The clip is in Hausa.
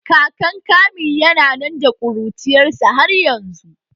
Kakan Kamil yana nan da kuruciyar sa har yanzu